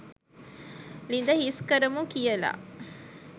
ලිද හිස් කරමු කියල.